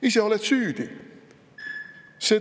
Ise oled süüdi!